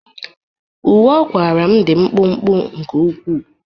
Uwe ọ kwara m dị mkpụmkpụ nke ukwuu